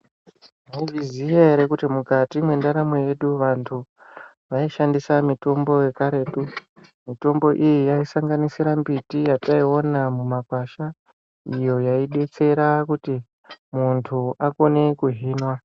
Taizviziya ere kuti mukati mwendaramo yedu vantu vaishandisa mitombo yekaretu. Mitombo iyi yaisanganisira mbiti yataiona mumakwasha iyo yaidetsera kuti muntu akone kuhinwa.